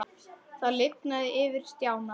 Það lifnaði yfir Stjána.